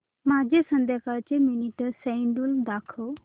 माझे संध्याकाळ चे मीटिंग श्येड्यूल दाखव